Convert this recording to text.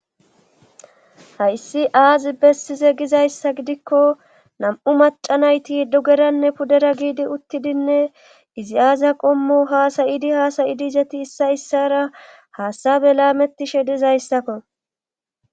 Hayssi aazi bessize gizayssa gidikko nam7u maca nayti idogeranne puddera giidi uttidinne izi aazia qommo haasayidi haasayidi izeti issa issara haasabe laamettishe dizayssakko